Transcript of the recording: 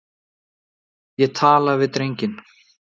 Ég tala við drenginn.